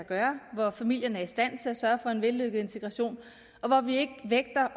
gøre hvor familierne er i stand til at sørge for en vellykket integration og hvor vi ikke vægter